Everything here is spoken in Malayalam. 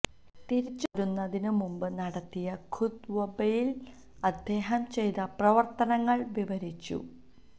തിരിച്ച് പോരുന്നതിന് മുമ്പ് നടത്തിയ ഖുത്വ്ബയില് അദ്ദേഹം ചെയ്ത പ്രവര്ത്തനങ്ങള് വിവരിച്ചു